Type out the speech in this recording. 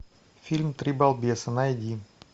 фильм три балбеса найди